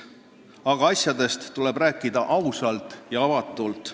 Aga asjadest tuleb rääkida ausalt ja avatult.